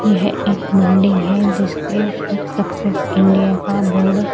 यह एक बिल्डिंग है जिसके ऊपर सक्सेस इंडिया का बोर्ड --